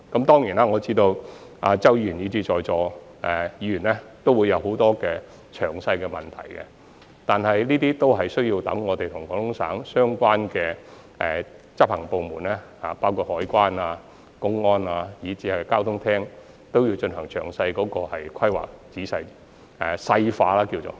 當然，我知道周議員以至在座各位議員都會有很多關於計劃細節的問題，但這些均有待我們與廣東省的相關執行部門，包括海關、公安以至交通廳進行詳細的規劃，即是所謂的"細化"。